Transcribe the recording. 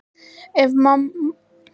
Ef pabbi hans og mamma leyfðu.